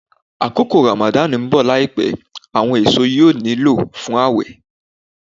Akoko Ramadan n bọ laipẹ, awọn eso yóò niló fun ãwẹ.